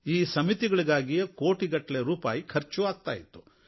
ಈ ಸಮಿತಿಗಳಿಗಾಗಿಯೇ ಕೋಟಿಗಟ್ಟಲೆ ಖರ್ಚೂ ಆಗುತ್ತಾ ಇತ್ತು